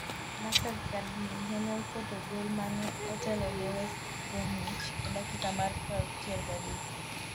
Nacer Chadli nene oketo gol mane otelo ne west Bromwich e dakika mar 63.